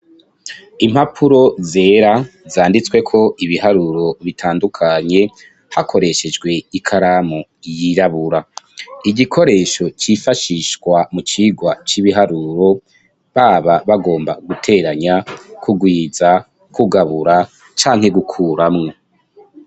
Impapuro zera zanditsweko ibiharuro bitandukanye hakoreshejwe ikaramu yirabura, igikoresho cifashishwa mu cigwa c'ibiharuro baba bagomba guteranya, kugwiza, kugabura, canke gukuramwo.